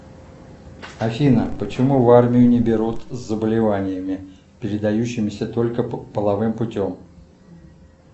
афина почему в армию не берут с заболеваниями передающимися только половым путем